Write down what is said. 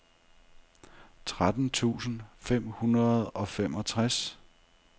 tretten tusind fem hundrede og femogtres